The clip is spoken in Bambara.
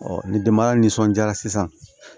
ni denbaya nisɔndiyara sisan